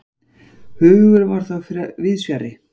Hugurinn var þó víðs fjarri.